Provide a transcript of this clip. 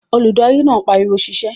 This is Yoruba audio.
Olùdarí náà pariwo "sisẹ́"